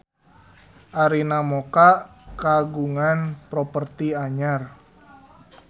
Arina Mocca kagungan properti anyar